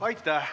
Aitäh!